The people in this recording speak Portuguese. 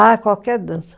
Ah, qualquer dança.